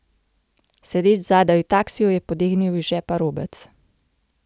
Sedeč zadaj v taksiju, je potegnil iz žepa robec.